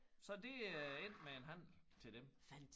Så det er endt med en handel til dem